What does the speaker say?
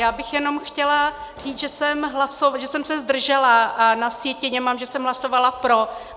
Já bych jenom chtěla říct, že jsem se zdržela a na sjetině mám, že jsem hlasovala pro.